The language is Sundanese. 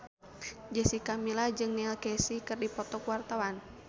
Jessica Milla jeung Neil Casey keur dipoto ku wartawan